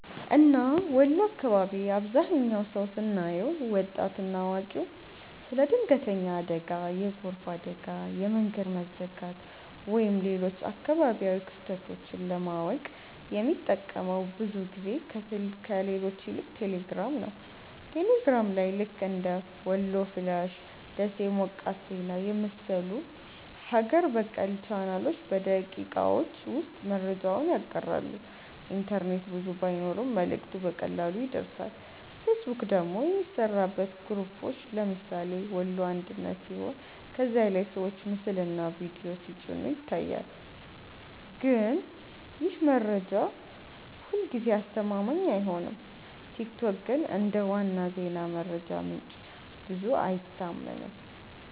እና ወሎ አካባቢ አብዛህኛው ሰው ስናየው( ወጣት እና አዋቂ) ስለ ድንገተኛ አደጋ፣ የጎርፍ አደጋ፣ የመንገድ መዘጋት ወይም ሌሎች አካባቢያዊ ክስተቶች ለማወቅ የሚጠቀመው ብዙ ጊዜ ከሌሎች ይልቅ ቴሌግራም ነው። ቴሌግራም ላይ ልክ እንደ "ወሎ ፍላሽ''፣ “ደሴ ሞቃት ዜና” የመሰሉ ሀገር በቀል ቻናሎች በደቂቃዎች ውስጥ መረጃውን ያጋራሉ፤ ኢንተርኔት ብዙ ባይኖርም መልእክቱ በቀላሉ ይደርሳል። ፌስቡክ ደግሞ የሚሠራበት በግሩፖች (ለምሳሌ “ወሎ አንድነት”) ሲሆን ከዚያ ላይ ሰዎች ምስልና ቪዲዮ ሲጭኑ ይታያል፣ ግን ይህ መረጃ ሁልጊዜ አስተማማኝ አይሆንም። ቲክቶክ ግን እንደ ዋና የዜና መረጃ ምንጭ ብዙ አይታመንም።